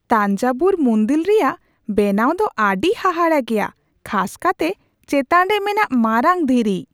ᱛᱟᱧᱡᱟᱵᱷᱩᱨ ᱢᱩᱱᱫᱤᱞ ᱨᱮᱭᱟᱜ ᱵᱮᱱᱟᱣ ᱫᱚ ᱟᱹᱰᱤ ᱦᱟᱦᱟᱲᱟᱜ ᱜᱮᱭᱟ, ᱠᱷᱟᱥ ᱠᱟᱛᱮ ᱪᱮᱛᱟᱱ ᱨᱮ ᱢᱮᱱᱟᱜ ᱢᱟᱨᱟᱝ ᱫᱷᱤᱨᱤ ᱾